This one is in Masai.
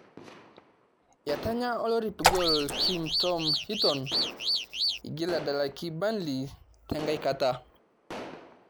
Etanya olorip goal kim Tom Heaton igil edalaki burnily trnkai kata